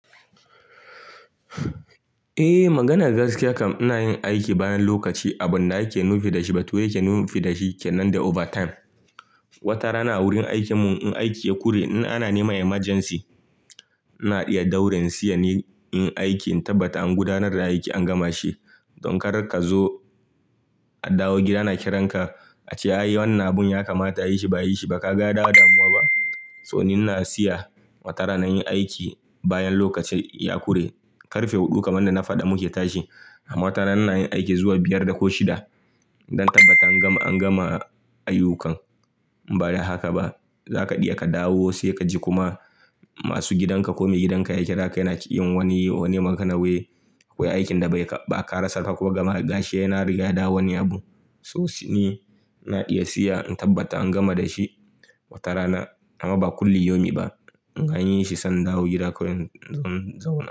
Eh maganar gaskiya kam ina yin aiki bayan lokaci abunda ake nufi da shi ba toh yake nufi da shi kenan da overtime. Watara na a wurin aikin mu in aiki ya kure in ana neman emergency. Ina iya daure in siya niyi in yi aiki in tabbata an gudanar da aiki an gama shi. Don kar kazo a dawo gida ana kiranka ace "ai wannan abun ya kamata ayi shi ba ayi shi ba kaga ya dawo damuwa ba." To ni na siya watara na in yi aiki bayan lokaci ya kure. Karfe huɗu kaman in da na faɗa muke tashi amma watara na inayin aiki zuwa biyar da ko shida don tabbata an gama an gama ayyukan. Ba da haka ba zaka iya ka dawo sai kaji kuma masu gidanka kome gidanka ya kira ka yana ki yin wani wani magana wai wai aikin da bai ba a karasa ka ko gama gashi yana riga da wani abun. To shi ne ina iya siya in tabbata an gama da shi watara na amma ba kulli yaumi ba. Anyi shi sai in dawo gida kawai in zo in zauna.